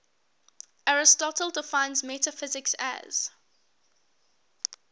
aristotle defines metaphysics as